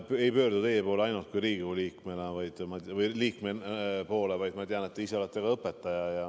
Ma ei pöördu teie poole mitte ainult kui Riigikogu liikme poole, vaid ma tean, et te olete ka õpetaja.